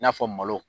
I n'a fɔ malo